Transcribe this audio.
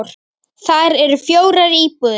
Þar eru fjórar íbúðir.